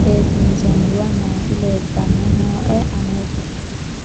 seesiinsoonniwa nooti leeltanni nooe anera